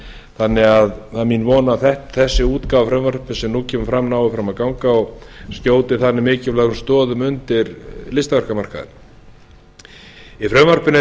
þannig að það er mín von að þessi útgáfa að frumvarpi sem nú kemur fram nái fram að ganga og skjóti þannig mikilvægum stoðum undir listaverkamarkaðinn í frumvarpinu er í